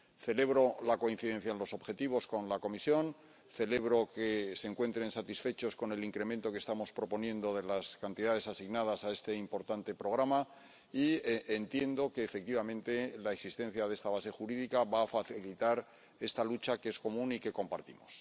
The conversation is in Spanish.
Celebro la coincidencia en los objetivos con la Comisión, celebro que se encuentren satisfechos con el incremento que estamos proponiendo de las cantidades asignadas a este importante Programa y entiendo que, efectivamente, la existencia de esta base jurídica va a facilitar esta lucha, que es común y que compartimos.